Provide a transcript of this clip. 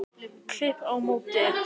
Klíp á móti.